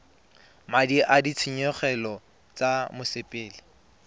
madi a ditshenyegelo tsa mosepele